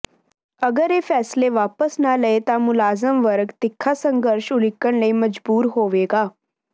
ਅਗਰ ਇਹ ਫੈਸਲੇ ਵਾਪਸ ਨਾ ਲਏ ਤਾਂ ਮੁਲਾਜ਼ਮ ਵਰਗ ਤਿੱਖਾ ਸੰਘਰਸ਼ ਉਲੀਕਣ ਲਈ ਮਜ਼ਬੂਰ ਹੋਵੇਗਾ